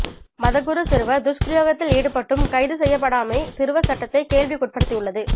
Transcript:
மதகுரு சிறுவர் துஸ்பிரயோகத்தில் ஈடுபட்டும் கைது செய்யப்படாமை சிறுவர் சட்டத்தை கேள்விக்குட்படுத்தியுள்ளது